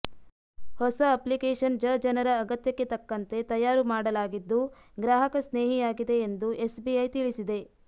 ಹೊಸ ಅಪ್ಲಿಕೇಶನ್ ಜಜನರ ಅಗತ್ಯಕ್ಕೆ ತಕ್ಕಂತೆ ತಯಾರು ಮಾಡಲಾಗಿದ್ದು ಗ್ರಾಹಕ ಸ್ನೇಹಿಯಾಗಿದೆ ಎಂದು ಎಸ್ ಬಿಐ ತಿಳಿಸಿದೆ